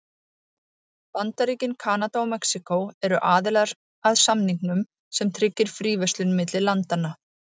Bandaríkin, Kanada og Mexíkó eru aðilar að samningnum sem tryggir fríverslun milli landanna.